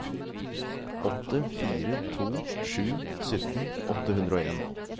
åtte fire to sju sytten åtte hundre og en